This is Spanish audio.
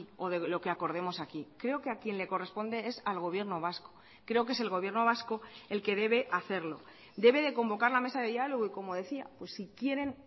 o de lo que acordemos aquí creo que a quien le corresponde es al gobierno vasco creo que es el gobierno vasco el que debe hacerlo debe de convocar la mesa de diálogo y como decía si quieren